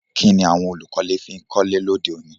Kíni àwon olùkọ́lé fi n kọ́lé lóde òní